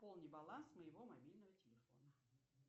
пополни баланс моего мобильного телефона